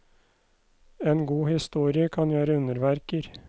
En god historie kan gjøre underverker.